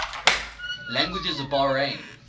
languages of bahrain